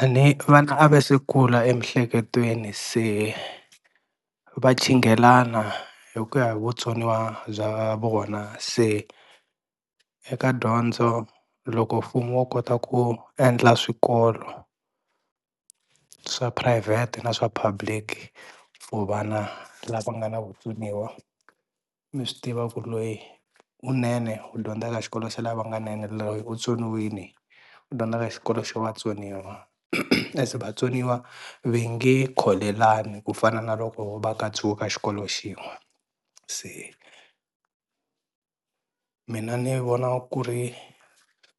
A ni vana a va se kula emiehleketweni se va chinghelana hi ku ya hi vutsoniwa bya vona. Se eka dyondzo loko mfumo wo kota ku endla swikolo swa phurayivhete na swa public ku vana lava nga na vutsoniwa mi swi tiva ku loyi u nene u dyondza ka xikolo xa lavanga nene loyi u tsoniwini u dyondza ka xikolo xa vatsoniwa as vatsoniwa ve nge kholelani ku fana na loko va ka two ka xikolo xin'we. Se mina ni vona ku ri